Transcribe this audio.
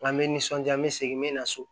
N ka me nisɔndiya n bɛ segin n bɛ na so